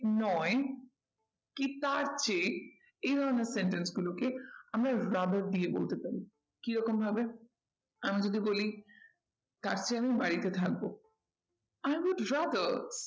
নয় কি তার চেয়ে এই ধরণের sentence গুলোকে আমরা rather দিয়ে বলতে পারি। কি রকম ভাবে আমি যদি বলি তার চেয়ে আমি বাড়িতে থাকবো। i would rather